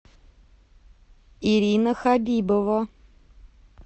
ирина хабибова